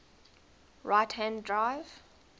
right hand drive